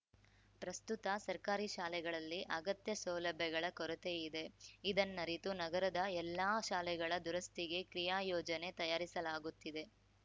ಪ್ರಸ್ತುತ ಸರ್ಕಾರಿ ಶಾಲೆಗಳಲ್ಲಿ ಅಗತ್ಯ ಸೌಲಭ್ಯಗಳ ಕೊರತೆ ಇದೆ ಇದನ್ನರಿತು ನಗರದ ಎಲ್ಲಾ ಶಾಲೆಗಳ ದುರಸ್ತಿಗೆ ಕ್ರಿಯಾಯೋಜನೆ ತಯಾರಿಸಲಾಗುತ್ತಿದೆ